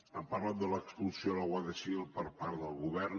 ha parlat de l’expulsió de la guàrdia civil per part del govern